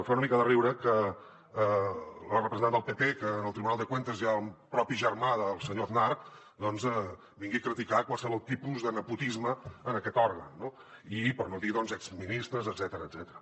fa una mica de riure que la representant del pp que en el tribunal de cuentas hi ha el propi germà del senyor aznar vingui a criticar qualsevol tipus de nepotisme en aquest òrgan i per no dir exministres etcètera